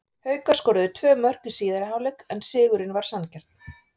Haukar skoruðu tvö mörk í síðari hálfleik en sigurinn var sanngjarn.